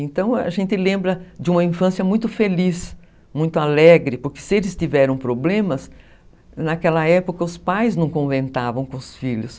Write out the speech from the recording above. Então, a gente lembra de uma infância muito feliz, muito alegre, porque se eles tiveram problemas, naquela época os pais não conventavam com os filhos.